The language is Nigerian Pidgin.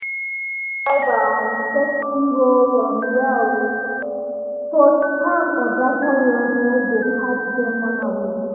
dem read cyber um safety rules um well um so scam or data loss no go catch dem unaware.